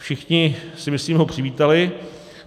Všichni, si myslím, ho přivítali.